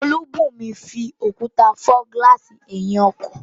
Olúbùnmi fi òkúta fọ́ gílààsì ẹ̀yìn ọkọ̀